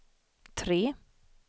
tre